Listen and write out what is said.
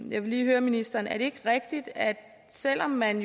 vil lige høre ministeren er det ikke rigtigt at selv om man